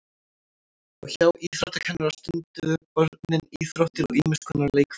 Og hjá íþróttakennara stunduðu börnin íþróttir og ýmis konar leikfimi.